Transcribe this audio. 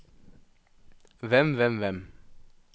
hvem hvem hvem